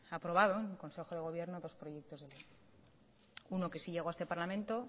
aprobado en consejo de gobierno proyectos de uno que sí llegó a este parlamento